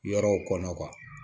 Yɔrɔw kɔnɔ